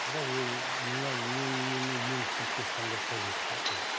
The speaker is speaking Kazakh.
бірақ ол мынау менің неме емшілікке ешқандай қажеті жоқ ол